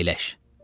Əyləş.